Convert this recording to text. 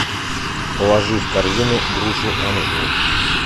положи в корзину грушу анжу